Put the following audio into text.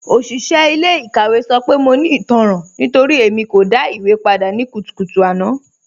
Oṣiṣẹ ilẹ̀-ikàwẹ̀ sọ pé mọ̀ ní ìtànran nítorí Ẹ̀mí kò dá ìwé pàdà ní kùtùkùtù àná